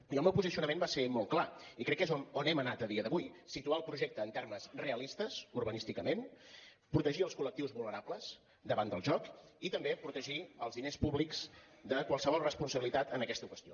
i el meu posicionament va ser molt clar i crec que és on hem anat a dia d’avui situar el projecte en termes rea listes urbanísticament protegir els col·lectius vulnerables davant del joc i també protegir els diners públics de qualsevol responsabilitat en aquesta qüestió